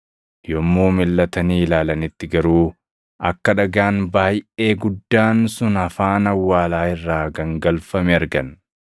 Yommuu milʼatanii ilaalanitti garuu akka dhagaan baayʼee guddaan sun afaan awwaalaa irraa gangalfame argan.